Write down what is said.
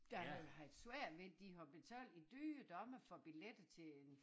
Der havde haft svært ved det de har betalt i dyre domme for billetter til en